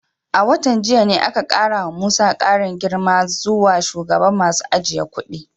A watan jiya ne aka kara wa Musa karin girma zuwa shugaban masu ajiye kudi.